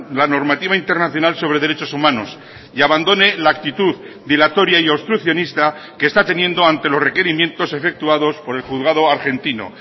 la normativa internacional sobre derechos humanos y abandone la actitud dilatoria y obstruccionista que está teniendo ante los requerimientos efectuados por el juzgado argentino